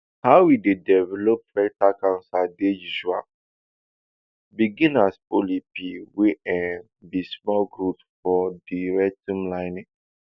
how e dey develop rectal cancer dey usually begin as polyp wey um be small growth for di rectum lining